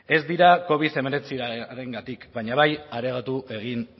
ez dira covid hemeretziarengatik baina bai areagotu egin